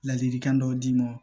Ladilikan dɔ d'i ma